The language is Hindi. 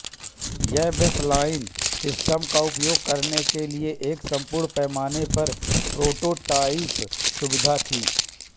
यह बेसलाइन सिस्टम का उपयोग करने के लिए एक पूर्ण पैमाने पर प्रोटोटाइप सुविधा थी